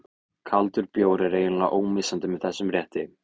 Kaldur bjór er eiginlega ómissandi með þessum rétti.